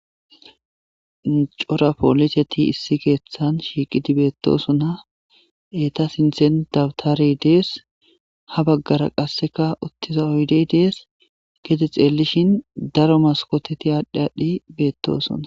Cora poliseti issi keeththan shiiqidi beetosona; izeta sinththen dabtarey dees; ha baggara qasseka uttiza oydey dees; gede xeelishin daro maskoteti aadhi aadhi beetosona.